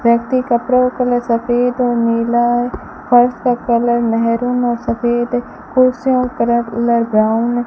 व्यक्ति कपड़ा का कलर सफेद और नीला है फर्श का कलर मैरून और सफेद है कुर्सियों का कलर कलर ब्राउन है।